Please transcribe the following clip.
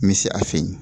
N bɛ se a fɛ yen